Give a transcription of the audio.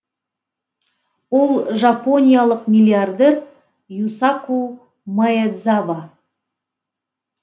ол жапониялық миллиардер юсаку маэдзава